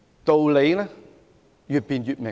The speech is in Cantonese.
道理越辯越明。